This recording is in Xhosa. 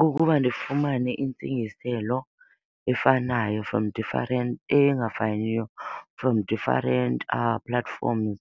Kukuba ndifumane intsingiselo efanayo from different, engafaniyo from different platforms